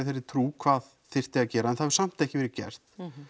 þeirri trú hvað þyrfti að gera en það hefur samt ekki verið gert